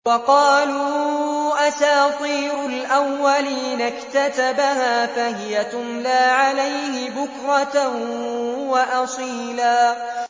وَقَالُوا أَسَاطِيرُ الْأَوَّلِينَ اكْتَتَبَهَا فَهِيَ تُمْلَىٰ عَلَيْهِ بُكْرَةً وَأَصِيلًا